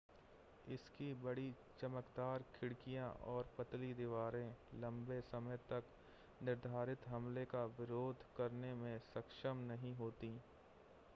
इसकी बड़ी चमकदार खिड़कियां और पतली दीवारें लंबे समय तक निर्धारित हमले का विरोध करने में सक्षम नहीं होतीं